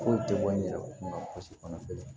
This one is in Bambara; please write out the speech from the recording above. Foyi tɛ bɔ n yɛrɛ kunna si kɔnɔ